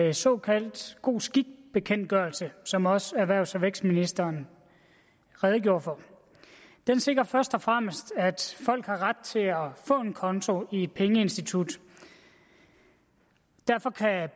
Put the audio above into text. en såkaldt god skik bekendtgørelse som også erhvervs og vækstministeren redegjorde for den sikrer først og fremmest at folk har ret til at få en konto i et pengeinstitut og derfor kan